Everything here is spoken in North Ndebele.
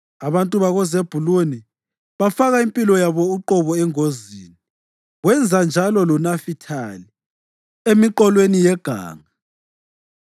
Abantu bakoZebhuluni bafaka impilo yabo uqobo engozini; wenza njalo loNafithali emiqolweni yeganga.